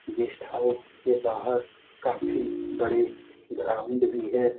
Guest house के बाहर काफी बड़े ग्राउंड भी है।